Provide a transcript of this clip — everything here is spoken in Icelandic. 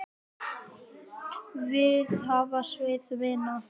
Við hvað má Sif vinna?